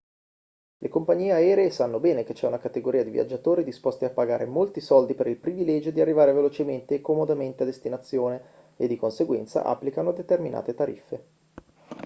le compagnie aeree sanno bene che c'è una categoria di viaggiatori disposti a pagare molti soldi per il privilegio di arrivare velocemente e comodamente a destinazione e di conseguenza applicano determinate tariffe